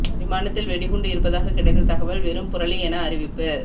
விமானத்தில் வெடிகுண்டு இருப்பதாக கிடைத்த தகவல் வெறும் புரளி என அறிவிப்பு